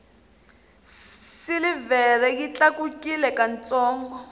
silivhere yi tlakukile ka ntsongo